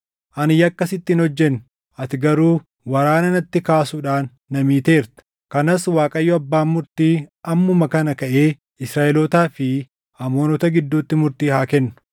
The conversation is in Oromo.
Ani yakka sitti hin hojjenne; ati garuu waraana natti kaasuudhaan na miiteerta. Kanas Waaqayyo, abbaan murtii ammuma kana kaʼee Israaʼelootaa fi Amoonota gidduutti murtii haa kennu.”